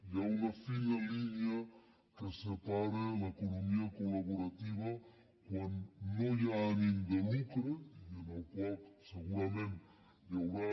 hi ha una fina línia que separa l’economia collaborativa quan no hi ha ànim de lucre i en el qual segurament hi haurà